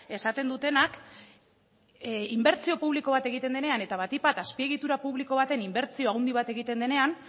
esaten dutenak inbertsio publiko bat egiten denean eta batik bat azpiegitura publiko baten inbertsio handi bat egiten denean